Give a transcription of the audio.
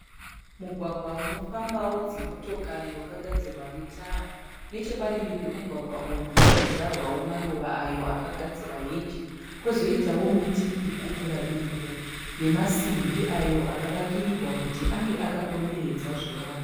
Mugwagwa unofambawo dzimotokari wakagadzirwa netara. Nechepadivi pemugwagwa uyu pakadyarwawo maruva ayo akagadzira heji pozoiwo miti irikukura iripo nemasimbi akagadzirwa kuti ange akakomberedza zvivakwa.